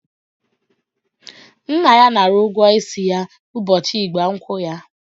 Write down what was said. Nna ya nara ụgwọ isi ya ụbọchị ịgba nkwụ ya.